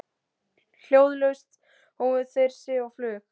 Hljóðlaust hófu þeir sig á flug.